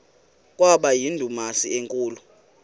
kwaba yindumasi enkulu